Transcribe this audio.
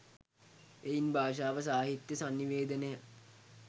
එයින් භාෂාව සාහිත්‍ය සන්නිවේදනය